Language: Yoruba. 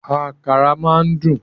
Àkàrà máa ń dùn